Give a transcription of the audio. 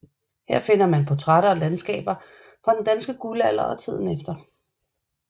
Her finder man portrætter og landskaber fra den danske guldalder og tiden efter